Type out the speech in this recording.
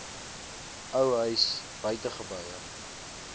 ou huis buitegeboue